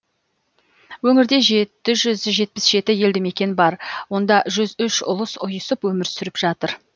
өңірде жеті жүз жетпіс жеті елді мекен бар онда жүз үш ұлыс ұйысып өмір сүріп жатыр